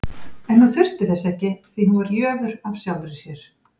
En hún þurfti þess ekki, því hún var jöfur af sjálfri sér.